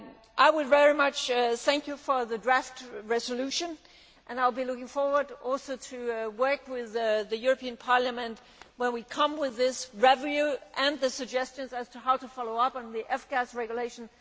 I would very much like to thank you for the draft resolution and I will be looking forward also to working with the European Parliament when we come with this review and the suggestions as to how to follow up on the F Gas regulation.